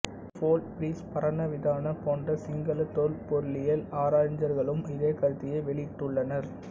போல் பீரிஸ் பரணவிதான போன்ற சிங்கள தொல்பொருளியல் அறிஞர்களும் இதே கருத்தையே வெளியிட்டுள்ளனர்